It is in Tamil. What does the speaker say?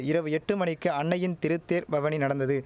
இரவு எட்டு மணிக்கு அன்னையின் திருத்தேர் பவனி நடந்தது